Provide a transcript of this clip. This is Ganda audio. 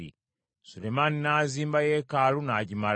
Sulemaani n’azimba yeekaalu n’agimala.